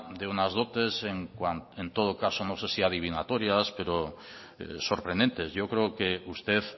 de unas dotes en todo caso no sé si adivinatorias pero sorprendentes yo creo que usted